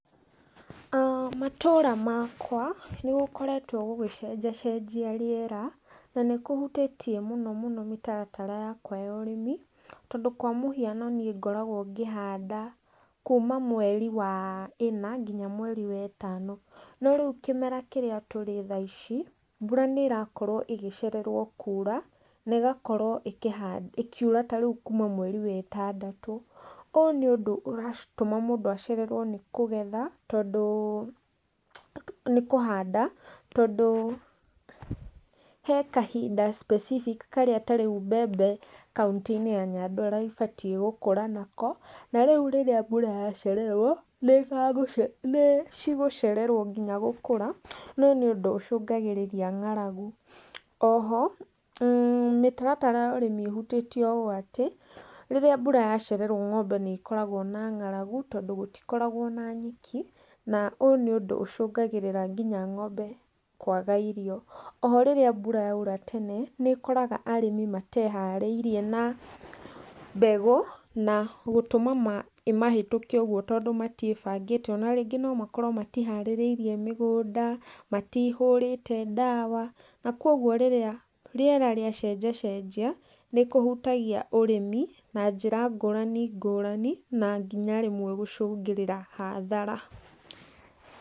Matũũra makwa nĩ gũkoretwo gũgĩcenjacenjia rĩera, na nĩ kũhutĩtie mũno mũno mĩtaratara yakwa ya ũrĩmi, tondũ kwa mũhiano niĩ ngoragwo ngĩhanda kuuma mweri wa ĩna, nginya mweri wa ĩtano, no rĩu kĩmera kĩrĩa tũrĩ thaa ici, mbura nĩ ĩrakorwo ĩgĩcererwo kuura na ĩgakorwo ĩkĩha ĩkiura ta rĩu kuuma mweri wetandatũ. Ũyũ nĩ ũndũ ũratũma mũndũ acererwo nĩ kũgetha tondũ nĩkũhanda tondũ he kahinda specific karĩa ta rĩu mbembe kauntĩ-inĩ ya Nyandarua ibatiĩ gũkũra nako, na rĩu rĩrĩa mbura yacererwo nĩ cigũcererwo nginya gũkũra, noyũ nĩ ũndũ ũcũngagĩrĩria ng'aragu, oho mĩtaratara ya ũrĩmi ĩhutĩtio ũũ atĩ, rĩrĩa mbura yacererwo ng'ombe nĩ ikoragwo na ng'aragu tondũ gũtikoragwo na nyeki, na ũyũ nĩ ũndũ ũcũngagĩrĩra nginya ng'ombe kwaga irio, oho rĩrĩa mbura yaura tene, nĩ ĩkoraga arĩmi mateharĩirie na mbegũ na gũtũma ĩmahĩtũke ũguo tondũ matiĩbangĩte, ona rĩngĩ no makorwo matiharĩrĩirie mĩgũnda, matihũrĩte ndawa, na koguo rĩrĩa rĩera rĩacenjacenjia nĩ kũhutagia ũrĩmi, na njĩra ngũrani ngũrani na nginya rĩmwe gũcũngĩrĩra hathara.